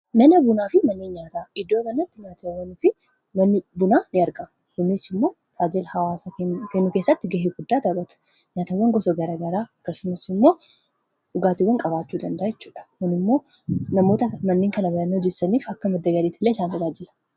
Mana bunaa fi mannii nyaataa iddoo kanatti nyaatiwwan fi manni bunaa in argama kuniis immoo taajila hawaasaa kennuu kessatti ga'ee guddaa taphatu nyaatiwwan gosa garagaraa akkasumas immoo dhugaatiiwwan qabaachuu danda'u kun immoo namoota mana kanaa hojjetaniif akka madda galiitti illee isaan tajaajila